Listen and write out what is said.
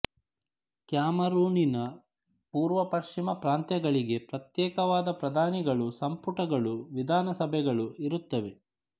ಕ್ಯಾಮರೂನಿನ ಪೂರ್ವಪಶ್ಚಿಮ ಪ್ರಾಂತ್ಯಗಳಿಗೆ ಪ್ರತ್ಯೇಕವಾದ ಪ್ರಧಾನಿಗಳೂ ಸಂಪುಟಗಳೂ ವಿಧಾನಸಭೆಗಳೂ ಇರುತ್ತವೆ